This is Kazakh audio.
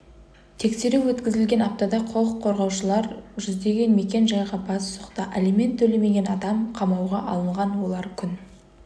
тексеру өткізілген аптада құқық қорғаушылар жүздеген мекен-жайға бас сұқты алимент төлемеген адам қамауға алынған олар күн